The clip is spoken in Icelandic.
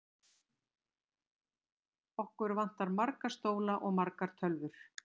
Okkur vantar marga stóla og margar tölvur.